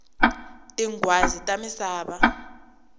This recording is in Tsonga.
tinghwazi ta misava